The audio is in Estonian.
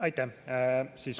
Aitäh!